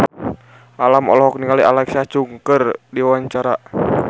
Alam olohok ningali Alexa Chung keur diwawancara